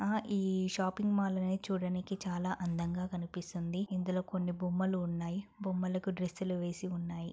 ఆ ఈ shopping mall అనేది చుడానికి చాలా అందంగా కనిపిస్తూ ఉంది ఇందులో కొన్ని బొమ్మలు ఉన్నాయి బొమ్మలకి డ్రెస్సులు వేసి ఉన్నాయి.